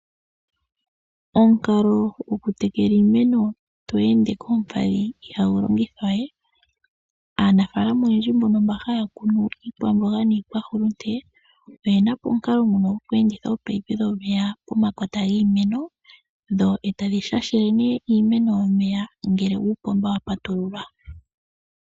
Omukalo gwokutekela iimeno tweende koompadhi iha gu longithwa we. Aanafalama oyendji mbo ha ya kunu iikwamboga niikwahulunde oye na po omukalo ngono gokweenditha oopayipi dhomeya pomakota giimeno dho eta dhi shashele ne iimeno ngele uupomba wa patululwa.